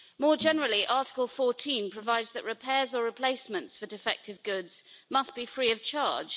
More generally, Article 14 provides that repairs or replacements for defective goods must be free of charge.